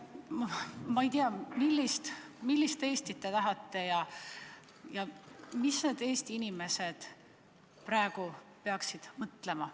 Ma ei tea, millist Eestit te tahate ja mida Eesti inimesed praegu peaksid mõtlema.